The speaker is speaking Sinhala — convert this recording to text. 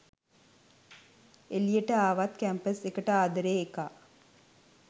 එලියට ආවත් කැම්පස් එකට ආදරේ එකා